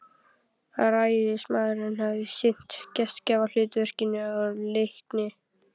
Ræðismaðurinn hafði sinnt gestgjafahlutverkinu af leikni.